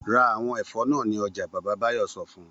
Ra àwọn ẹ̀fọ́ náà ní ọjà! Bàbá Báyọ̀ sọ fún un.